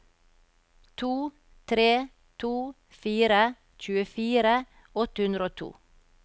to tre to fire tjuefire åtte hundre og to